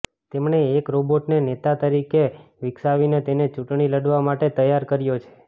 તેમણે એક રોબોટને નેતા તરીકે વિકસાવીને તેને ચૂંટણી લડવા માટે તૈયાર કર્યો છે